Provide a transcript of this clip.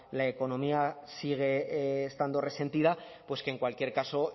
la economía sigue estando resentida pues que en cualquier caso